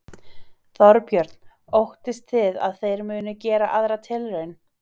Þorbjörn: Óttist þið að þeir munu gera aðra tilraun?